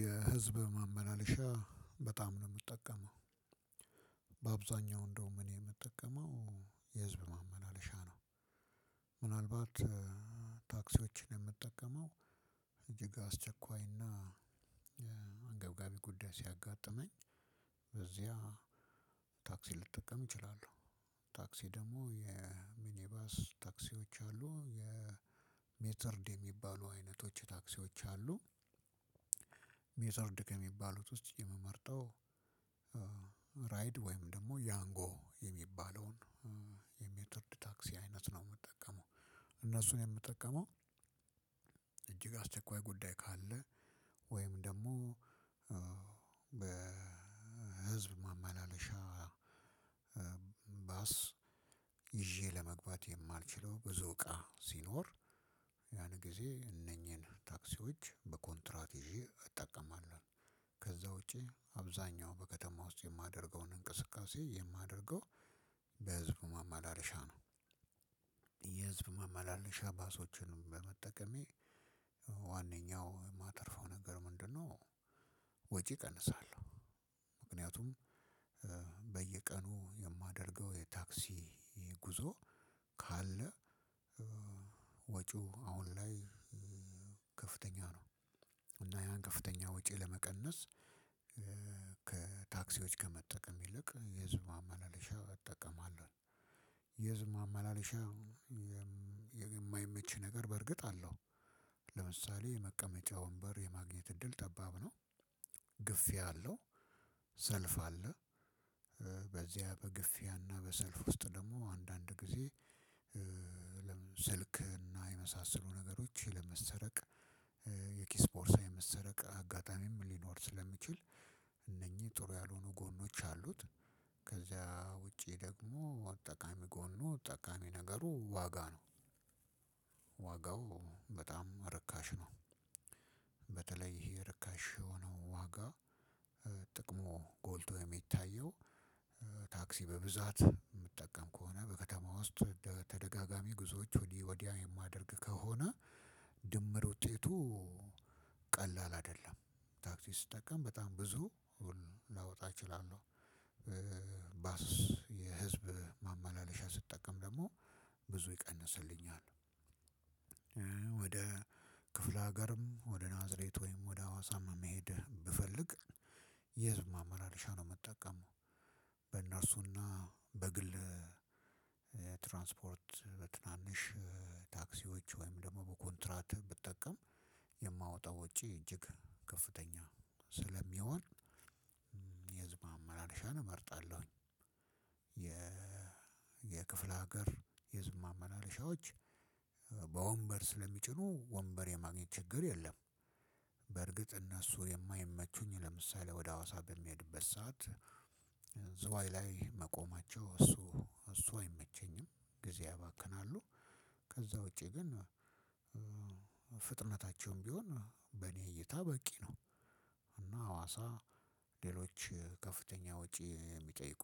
የ ህዝብ ማመላለሻ በጣም ነው ምጠቀመው። በአብዛኛው እንደውም እኔ ምጠቀመው የህዝብ ማመላለሻ ነው። ምናልባት ታክሲዎችን ምጠቀመው እጅግ አስቸኳይና አንገብጋቢ ጉዳይ ሲያጋጥመኝ በዚህያ ታክሲ ልጠቀም እችላለሁ ታክሲ ደግሞ የሚኒባስ ታክሲዎች አሉ የሜትርድ የሚባሉ አይነቶች ታክሲዎች አሉ። ሜትርድ ከሚባሉት ውስጥ የምመርጠው ራይድ ወይም ደግሞ ያንጎ የሚባለውን የሜትርድ ታክሲ አይነት ነው የምጠቀመው። እነሱን የምጠቀመው አስቸኳይ ጉዳይ ካለ ወይም ደግሞ በህዝብ ማመላለሻ ባስ ይዤ ለመግባት የማልችለው ብዙ እቃ ሲኖር ያን ጊዜ እነኚህን ታክሲዎች በኮንትራት ይዤ እጠቀማለሁ ከዛ ውጪ አብዛኛው በከተማ ውስጥ የማደርገውን እንቅስቃሴ የማደርገው በ ህዝብ ነው ማማለሻ ነው የህዝብ ማማለሻ ባሶችንም በመጠቀሜ ዋነኛው ማተርፈው ነገር ምንድነው? ወጪ እቀንሳለሁ ምክንያቱም በየቀኑ የማደርገው የታክሲ ጉዞ ካለ ወጪው አሁን ላይ ከፍተኛ ነው። እና ያን ከፍተኛ ወጪ ለመቀነስ ከታክሲዎች ከመጠቀም ይልቅ የህዝብ ማመለሻ እጠቀማለሁ የህዝብ ማመላለሻ የማይመች ነገር በእርግጥ አለው። ለምሳሌ መቀመጫ ወንበር የማግኘት እድል ጠባብ ነው። ግፊያ አለው ሰልፍ አለ። በዚያ በግፊያ እና በሰልፍ ውስጥ ደግሞ አንዳንድ ጊዜ ስልክ እና የመሳሰሉ ነገሮች የመሰረቅ የኪስ ፖርሳ የመሰረቅ አጋጣሚም ሊኖር ስለሚችል እነኚህ ጥሩ ያልሆኑ ጎኖች አሉት። ከዛ ውጪ ደግሞ ጠቃሚ ጎኑ ጠቃሚ ነገሩ ዋጋ ነው። ዋጋው በጣም ርካሽ ነው። በተለይ ይሄ ርካሽ የሆነው ዋጋ ጥቅሙ ጎልቶ የሚታየው ታክሲ በብዛት ምጠቀም ከሆነ በከተማ ውስጥ ተደጋጋሚ ጉዞዎች ወዲህ ወዲያ የማደርግ ከሆነ ድምር ውጤቱ ቀላል አይደለም ታክሲ ስጠቀም በጣም ብዙ ላወጣ እችላለሁ ባስ የህዝብ ማመላለሻ ስጠቀም ደግሞ ብዙ ይቀንስልኛል ወደ ክፍለ ሀገርም ወደ ናዝሬት ወይም ወደ ሐዋሳም መሄድ ብፈልግ የህዝብ ማማለሻ ነው ምጠቀመው በእነርሱ እና በግል ትራንስፖርት በትናንሽ ታክሲዎች ወይም ደግሞ በኮንትራት ብጠቀም የማወጣው ውጪ እጅግ ከፍተኛ ስለሚሆን የህዝብ ማመላለሻን እመርጣለሁኝ የ የክፍለ ሀገር የህዝብ ማመላለሻዎች በወንበር ስለሚጭኑ ወንበር የማግኘት ችግር የለም። በርግጥ እነሱ የማይመቹኝ ለምሳሌ ወደ ሀዋሳ በምሄድበት ሰዓት ዝዋይ ላይ መቆማቸው እሱ እሱ አይመቸኝም ጊዜ ያባክናሉ። ከዛ ውጪ ግን ፍጥነታቸውም ቢሆን በእኔ እይታ በቂ ነው። እና ሀዋሳ ሌሎች ከፍተኛ ወጪ የሚጠይቁ፣